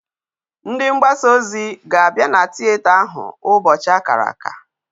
Ndi mgbasa ozo ga abia na theater ahu na ubochi akara aka